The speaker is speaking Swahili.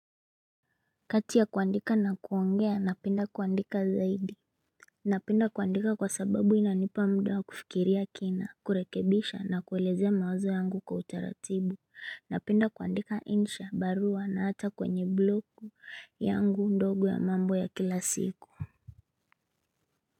Kati ya kuandika na kuongea napenda kuandika zaidi Napenda kuandika kwa sababu inanipa mda wa kufikiria kina kurekebisha na kuelezea mawazo yangu kwa utaratibu Napenda kuandika insha barua na hata kwenye blogu yangu ndogo ya mambo ya kila siku.